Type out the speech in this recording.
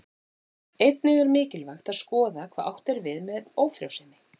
Einnig er mikilvægt að skoða hvað átt er við með ófrjósemi.